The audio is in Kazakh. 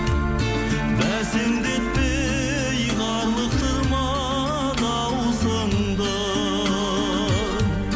бәсеңдетпе ей қарлықтырма дауысыңды